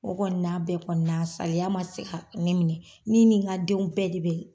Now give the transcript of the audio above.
O kɔni na bɛɛ kɔni na, saliya ma se ka ne minɛ, ne nin nka denw bɛɛ de bɛ.